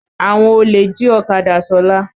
Àwọn olè jí ọ̀kadá Ṣọlá.